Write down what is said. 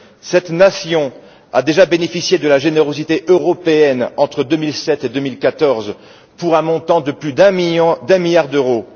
Cette nation a déjà bénéficié de la générosité européenne entre 2007 et 2014 pour un montant de plus d'un milliard d'euros.